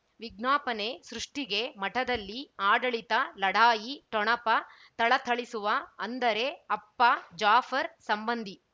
ವಿಜ್ಞಾಪನೆ ಸೃಷ್ಟಿಗೆ ಮಠದಲ್ಲಿ ಆಡಳಿತ ಲಢಾಯಿ ಠೊಣಪ ಥಳಥಳಿಸುವ ಅಂದರೆ ಅಪ್ಪ ಜಾಫರ್ ಸಂಬಂಧಿ